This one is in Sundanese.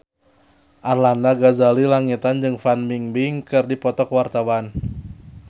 Arlanda Ghazali Langitan jeung Fan Bingbing keur dipoto ku wartawan